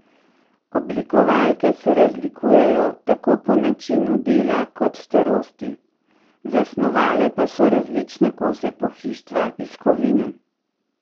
Oblikovalke se razlikujejo tako po načinu dela kot starosti, zasnovale pa so različne kose pohištva iz kovine.